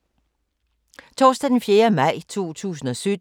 Torsdag d. 4. maj 2017